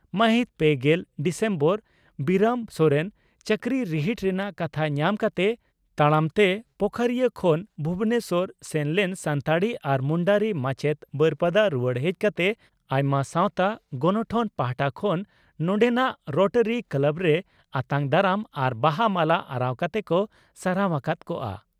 ᱢᱟᱹᱦᱤᱛ ᱯᱮᱜᱮᱞ ᱰᱤᱥᱮᱢᱵᱚᱨ ᱵᱤᱨᱟᱹᱢ ᱥᱚᱨᱮᱱ ᱪᱟᱹᱠᱨᱤ ᱨᱤᱦᱤᱴ ᱨᱮᱱᱟᱜ ᱠᱟᱛᱷᱟ ᱧᱟᱢ ᱠᱟᱛᱮ ᱛᱟᱲᱟᱢᱛᱮ ᱯᱳᱠᱷᱚᱨᱤᱭᱟᱹ ᱠᱷᱚᱱ ᱵᱷᱩᱵᱚᱱᱮᱥᱚᱨ ᱥᱮᱱ ᱞᱮᱱ ᱥᱟᱱᱛᱟᱲᱤ ᱟᱨ ᱢᱩᱱᱰᱟᱹᱨᱤ ᱢᱟᱪᱮᱛ () ᱵᱟᱹᱨᱯᱟᱫᱟ ᱨᱩᱣᱟᱹᱲ ᱦᱮᱡ ᱠᱟᱛᱮ ᱟᱭᱢᱟ ᱥᱟᱣᱛᱟ ᱜᱚᱱᱚᱴᱷᱚᱱ ᱯᱟᱦᱴᱟ ᱠᱷᱚᱱ ᱱᱚᱰᱮᱱᱟᱜ ᱨᱚᱴᱟᱨᱤ ᱠᱞᱟᱵᱽᱨᱮ ᱟᱛᱟᱝ ᱫᱟᱨᱟᱢ ᱟᱨ ᱵᱟᱦᱟ ᱢᱟᱞᱟ ᱟᱨᱟᱣ ᱠᱟᱛᱮ ᱠᱚ ᱥᱟᱨᱦᱟᱣ ᱟᱠᱟᱫ ᱠᱚᱜᱼᱟ ᱾